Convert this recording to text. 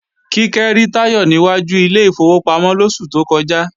Kíkẹ́ rí Táyọ̀ ní wájú ilé ìfowópamọ́ lóṣù tó kọjá